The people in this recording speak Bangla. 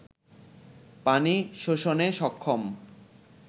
পানি শোষণে সক্ষম